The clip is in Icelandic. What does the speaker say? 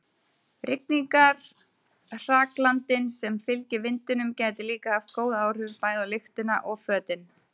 Rigningarhraglandinn sem fylgir vindinum gæti líka haft góð áhrif, bæði á lyktina og fötin.